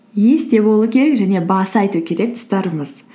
есте болу керек және баса айту керек тұстарыңыз